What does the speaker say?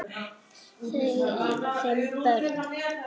Þau eiga fimm börn